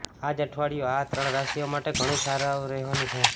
આજ અઠવાડિયું આ ત્રણ રાશિઓ માટે ઘણું સારું રહેવાનું છે